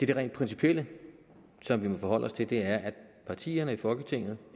det rent principielle som vi må forholde os til og det er at partierne i folketinget